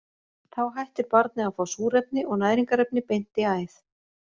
Þá hættir barnið að fá súrefni og næringarefni beint í æð.